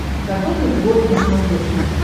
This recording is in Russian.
катун нетворк на смотрешке